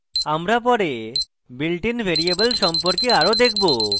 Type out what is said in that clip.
আমরা পরে built in variable সম্পর্কে আরো দেখবো